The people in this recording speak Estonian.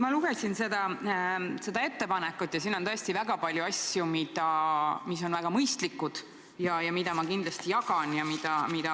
Ma lugesin seda ettepanekut ja siin on tõesti palju asju, mis on väga mõistlikud ja mida ma kindlasti toetan.